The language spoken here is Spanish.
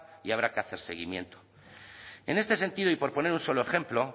y habrá que hacer seguimiento en este sentido y por poner un solo ejemplo